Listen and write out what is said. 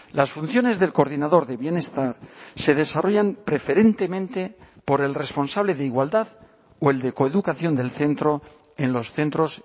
las funciones del coordinador de bienestar se desarrollan preferentemente por el responsable de igualdad o el de coeducación del centro en los centros